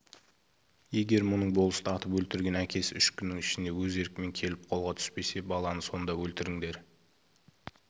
егер мұның болысты атып өлтірген әкесі үш күннің ішінде өз еркімен келіп қолға түспесе баланы сонда өлтіріңдер